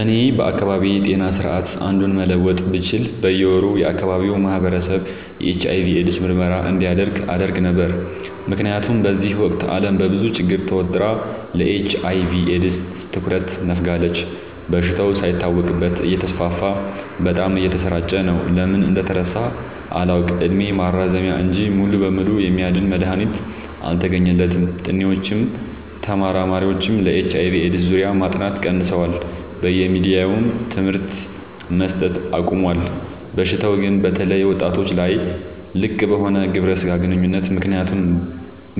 እኔ ከአካባቢዬ ጤና ስርዓት አንዱን መለወጥ ብችል በየ ወሩ የአካባቢው ማህበረሰብ የኤች/አይ/ቪ ኤድስ ምርመራ እንዲያደርግ አደረግ ነበር። ምክንያቱም በዚህ ወቅት አለም በብዙ ችግር ተወጥራ ለኤች/አይ/ቪ ኤድስ ትኩረት ነፋጋለች። በሽታው ሳይታወቅበት እተስፋፋ በጣም እየተሰራጨ ነው። ለምን እንደተረሳ አላውቅ እድሜ ማራዘሚያ እንጂ ሙሉ በሙሉ የሚያድን መድሀኒት አልተገኘለትም ጥኒዎችም ተመራማሪዎችም በኤች/አይ/ቪ ኤድስ ዙሪያ ማጥናት ቀንሰዋል በየሚዲያውም ትምህርት መሰት አቆሞል። በሽታው ግን በተለይ ወጣቶች ላይ ልቅበሆነ ግብረ ስጋ ግንኙነት